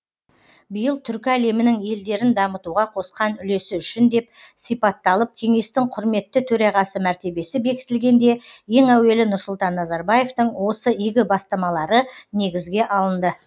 биыл түркі әлемінің елдерін дамытуға қосқан үлесі үшін деп сипатталып кеңестің құрметті төрағасы мәртебесі бекітілгенде ең әуелі нұрсұлтан назарбаевтың осы игі бастамалары негізге алынды